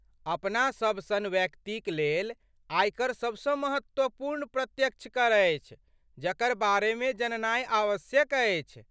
अपना सभ सन व्यक्तिक लेल, आयकर सबसँ महत्वपूर्ण प्रत्यक्ष कर अछि जकर बारेमे जननाइ आवश्यक अछि।